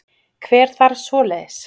Hver þarf svoleiðis?